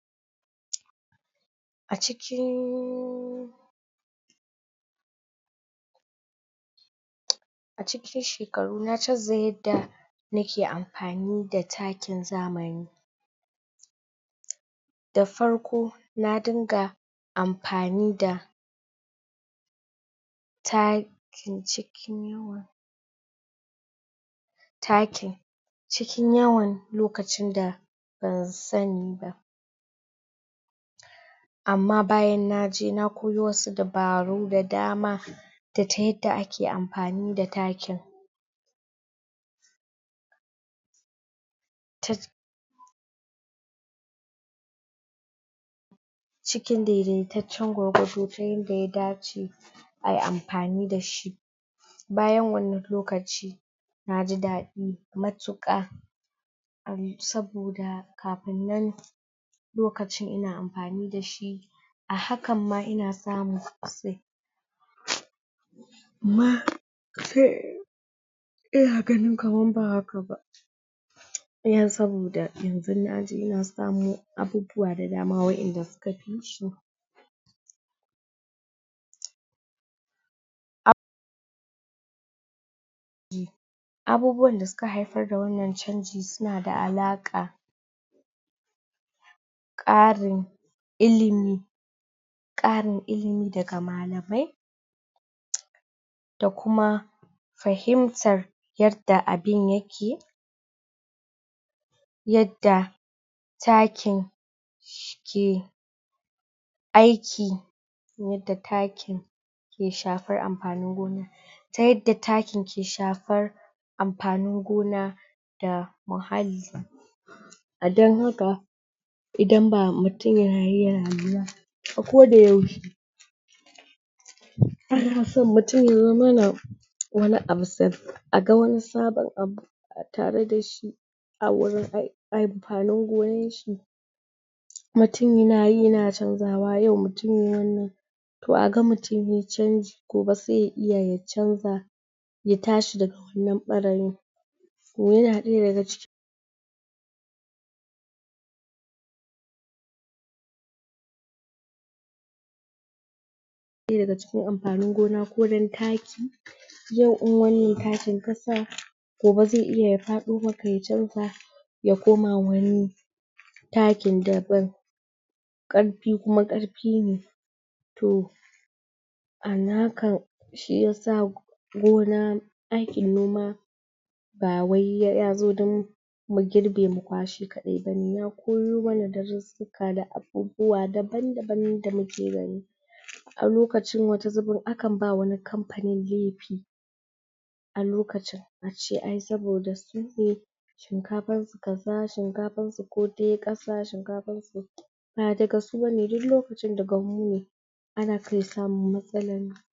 ?? a cikinnn... a cikin shekaru na chanza yadda na ke amfani da takin zamani da farko na dunga amfani da ta kin cikin takin cikin yawan lokacin da ba sani ba amma bayan naje na koyo wasu dabaaru da dama da ta yadda ake amfani da takin tat cikin daidaita can gwargwado ta yadda ta dace ayi amfani da shi bayan wannan lokaci na ji dadi matuka um saboda kafin nan lokacin ina amfani dashi a hakan ma ina samu sosai?? amma um ina ganin kamar ba haka ba dan saboda yanxu naji ina samu abubuwa da dama wa'enda naji suka fi shi um?? abubuwan da suka haifar da wannan chanjin suna da alaka karin ilimi karin ilimi daga malamai? da kuma fahimtan yadda abun yake yadda takin shi ke aiki yadda takin ke shafar amfanin gonan ta yadda takin ke shafar amfanin gona da muhalli a dan haka idan ba mutum yayi ya a ko da yaushe ana son mutum ya zamana wani abu sa aga wani sabon abu a tare dashi a wurin ai amfanin gonanshi mutum nayi yana chanzawa yau mutum ne wannan ko aga mutum ye chan gobe se ya iya ya chanza ya tashi nan bara yin yana daya daga cikin yana daya daga cikin amfanin gona ko dan taki yau in wannan takin ka sa gobe zai iya ya fado maka ya chanza ya koma wani takin daban karfi kuma karfi ne to a nakan shiyasa gona ake noma ba wai ya zo dun mu girbe mu kwashe kadai bane ya koyo mana darusa da abubuwa daban daban da muke gani a lokacin wata zubin akan ba wata kamfanin lefi a lokacin ace ay saboda su ke shinkafansu kaza shinkafan su ko te kasa shinkafansu ba daga su bane duk lokacin daga mu ne ana kan samun matsalan